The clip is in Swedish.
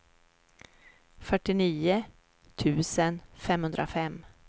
fyrtionio tusen femhundrafem